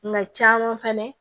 Mɛ caman fana